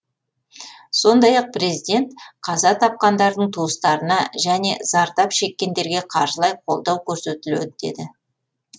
сондай ақ президент қаза тапқандардың туыстарына және зардап шеккендерге қаржылай қолдау көрсетіледі деді